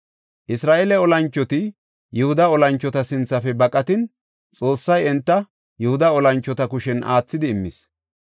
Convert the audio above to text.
Isra7eele olanchoti Yihuda olanchota sinthafe baqatin Xoossay enta Yihuda olanchota kushen aathidi immis.